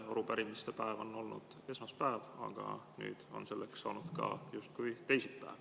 Arupärimiste päev on olnud esmaspäev, aga nüüd on selleks saanud ka justkui teisipäev.